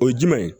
O ye jumɛn ye